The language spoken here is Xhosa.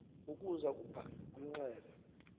ukuza kubka unxele